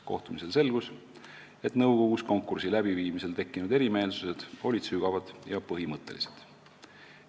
Kohtumisel selgus, et nõukogus konkursi läbiviimisel tekkinud erimeelsused olid sügavad ja põhimõttelised.